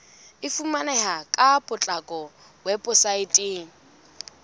e fumaneha ka potlako weposaeteng